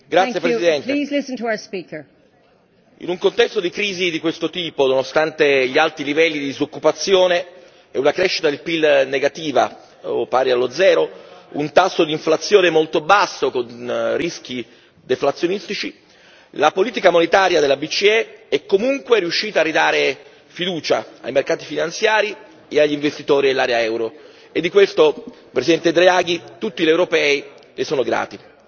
Signor Presidente, onorevoli colleghi, in un contesto di crisi di questo tipo, nonostante gli alti livelli di disoccupazione e una crescita del PIL negativa o pari allo zero e un tasso di inflazione molto basso con rischi deflazionistici, la politica monetaria della BCE è comunque riuscita a ridare fiducia ai mercati finanziari e agli investitori dell'area euro e di questo, Presidente Draghi, tutti gli europei le sono grati.